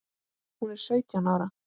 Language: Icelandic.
Hún er sautján ára.